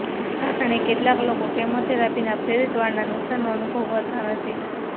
આ કારણે કેટલાક લોકો કેમોથેરાપીના પ્રેરિત વાળના નુકશાનનો અનુભવ કરતા નથી